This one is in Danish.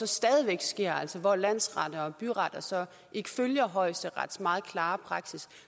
stadig væk sker altså hvor landsretter og byretter ikke følger højesterets meget klare praksis